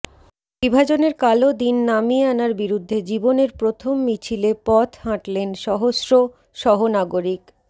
বিভাজনের কালো দিন নামিয়ে আনার বিরুদ্ধে জীবনের প্রথম মিছিলে পথ হাঁটলেন সহস্র সহনাগরিক